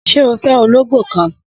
Sé o fé ológbó kan?